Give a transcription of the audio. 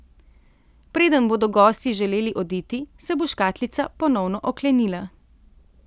Preden bodo gostje želeli oditi, se bo škatlica ponovno oklenila.